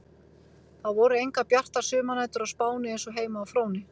Það voru engar bjartar sumarnætur á Spáni eins og heima á Fróni.